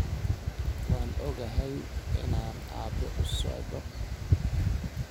[Waan ogahay inaan Aabe usocdo